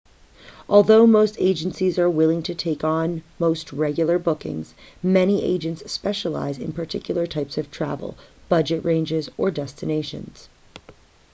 although most agencies are willing to take on most regular bookings many agents specialise in particular types of travel budget ranges or destinations